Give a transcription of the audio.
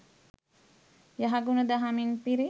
යහගුණ දහමින් පිරි